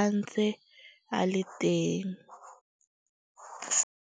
a ntse a le teng.